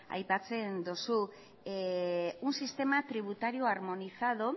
aipatzen duzu un sistema tributario armonizado